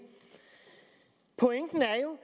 pointen er jo